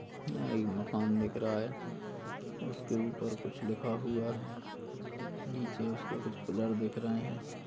यहाँ एक मकान दिख रहा है उसके ऊपर कुछ लिखा हुआ है नीचे उसके कुछ पिलर दिख रहे हैं।